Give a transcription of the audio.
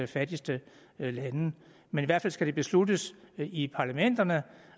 fattigste lande men i hvert fald skal det besluttes i parlamenterne